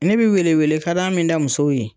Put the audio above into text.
Ne bi weele-weele ka dan min da musow ye